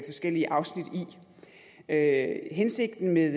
forskellige afsnit af hensigten med